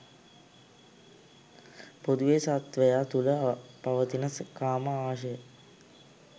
පොදුවේ සත්වයා තුළ පවතින කාම ආශය